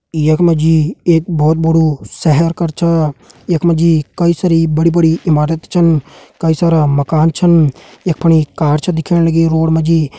यख मा जी एक बहुत बड़ू पूरा शहर कर छा यख मि जी बड़ी बड़ी कई सारी इमारत छन कई सारा मकान छन यख फणि कार छ दिखेण लगीं रोड मा जी।